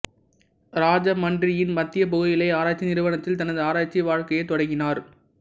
ராஜமன்றியின் மத்திய புகையிலை ஆராய்ச்சி நிறுவனத்தில் தனது ஆராய்ச்சி வாழ்க்கையைத் தொடங்கினார்